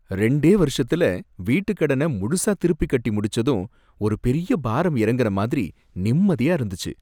ரெண்டே வருஷத்துல வீட்டுக்கடன முழுசா திருப்பி கட்டி முடிச்சதும் ஒரு பெரிய பாரம் இறங்குன மாதிரி நிம்மதியா இருந்துச்சு.